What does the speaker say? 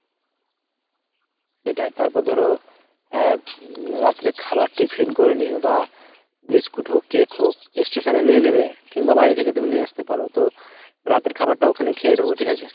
সেইটাই। তারপর ধরো আহ উম রাত্রে খাওয়ার tiffin করে নিও বা biscuit হোক cake হোক station এ নিয়ে নেবে কিংবা বাড়ি থেকে তুমি নিয়ে আসতে পারো। তো রাতের খাবারটা ওখানেই খে নেবো ঠিক আছে ?